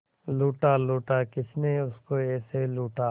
लूटा लूटा किसने उसको ऐसे लूटा